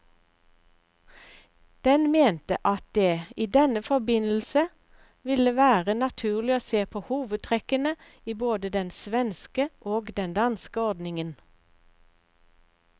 Den mente at det i denne forbindelse ville være naturlig å se på hovedtrekkene i både den svenske og den danske ordningen.